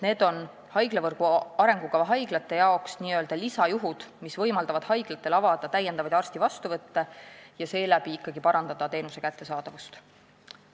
Need on haiglavõrgu arengukava haiglatele n-ö lisajuhud, mis võimaldavad täiendavaid arstide vastuvõtte ja seeläbi ikkagi parandavad teenuse kättesaadavust.